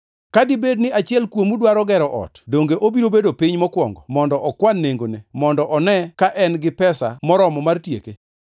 “Ka dibed ni achiel kuomu dwaro gero ot. Donge obiro bedo piny mokwongo mondo okwan nengone mondo one ka en gi pesa moromo mar tieke?